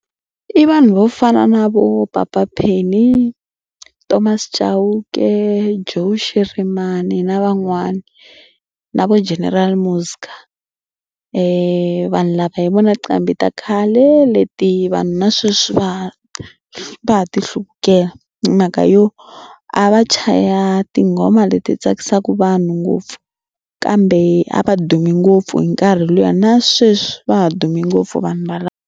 I vanhu vo fana na vo Papa Penny, Thomas Chauke, Joe Shirimani na van'wani na vo General Muska vanhu lava hi vona tinqambi ta khale leti vanhu na sweswi va va ha ti hluvukela hi mhaka yo a va chaya tinghoma leti tsakisaka vanhu ngopfu kambe a va dume ngopfu hi nkarhi lowuya na sweswi va ha dume ngopfu vanhu valava.